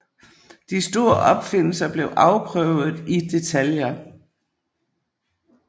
De store opfindelser blev afprøvet i detaljer